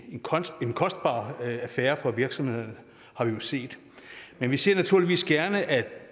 en kostbar affære for virksomhederne har vi jo set men vi ser naturligvis gerne at